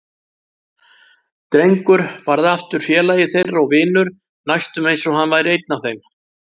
Drengur varð aftur félagi þeirra og vinur, næstum eins og hann væri einn af þeim.